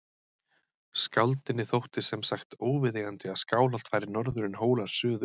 Skáldinu þótti sem sagt óviðeigandi að Skálholt færi norður en Hólar suður.